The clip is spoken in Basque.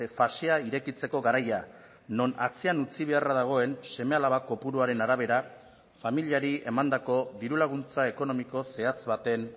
fasea irekitzeko garaia non atzean utzi beharra dagoen seme alaba kopuruaren arabera familiari emandako diru laguntza ekonomiko zehatz baten